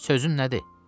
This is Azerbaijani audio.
Sözün nədir?